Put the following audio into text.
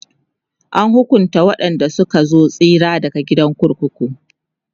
an hukunta waƴanda Suka so tsira daga kurkuku